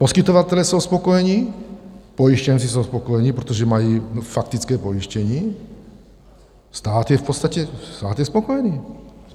Poskytovatelé jsou spokojeni, pojištěnci jsou spokojeni, protože mají faktické pojištění, stát je v podstatě spokojený.